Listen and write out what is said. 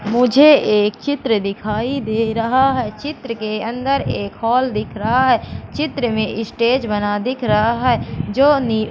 मुझे एक चित्र दिखाई दे रहा है चित्र के अंदर एक हॉल दिख रहा है चित्र में स्टेज बना दिख रहा है जो नि--